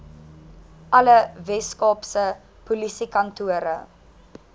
alle weskaapse polisiekantore